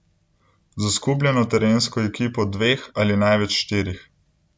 Z oskubljeno terensko ekipo dveh ali največ štirih.